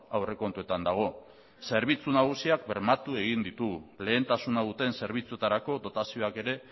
aurrekontuetan dago zerbitzu nagusiak bermatu egin ditugu lehentasuna duten zerbitzuetarako dotazioak ere